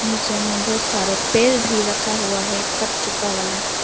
नीचे में बहुत सारे पेड़ भी रखा हुआ है कट चुका वाला।